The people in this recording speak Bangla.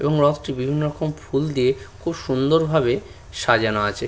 এবং রথটি বিভিন্ন রকম ফুল দিয়ে খুব সুন্দর ভাবে সাজানো আছে।